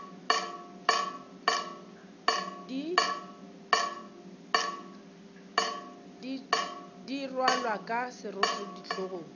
di rwalwa ka seroto hlogong